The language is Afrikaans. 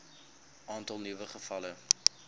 aantal nuwe gevalle